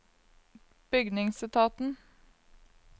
bygningsetaten